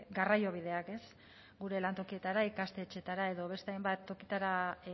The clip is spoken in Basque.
garraiobideak ez gure lantokietara ikastetxeetara edo beste hainbat tokitara